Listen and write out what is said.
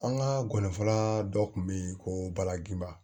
An ka gɔni fara dɔ kun be yen ko balakiba